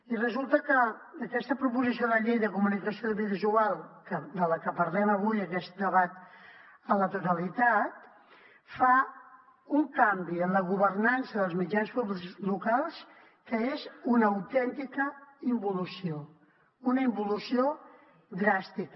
i resulta que aquesta proposició de llei de comunicació audiovisual de la que parlem avui aquest debat a la totalitat fa un canvi en la governança dels mitjans públics locals que és una autèntica involució una involució dràstica